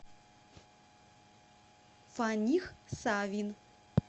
фаних савин